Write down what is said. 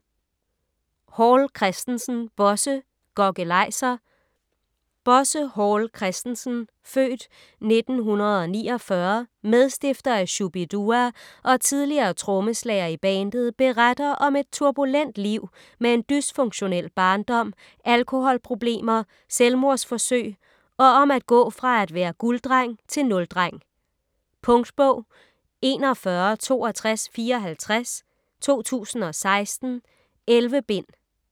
Hall Christensen, Bosse: Gokkelajser Bosse Hall Christensen (f. 1949), medstifter af Shu-bi-dua og tidligere trommeslager i bandet, beretter om et turbulent liv med en dysfunktionel barndom, alkoholproblemer, selvmordsforsøg og om at gå fra at være gulddreng til nuldreng. Punktbog 416254 2016. 11 bind.